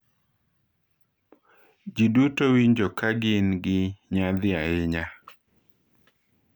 "Ji duto winjo ka gin gi nyadhi ahinya""."